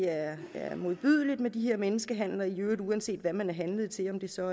er modbydeligt med de her menneskehandler og i øvrigt uanset hvad man er handlet til om det så